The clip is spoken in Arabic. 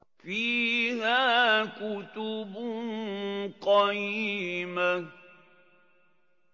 فِيهَا كُتُبٌ قَيِّمَةٌ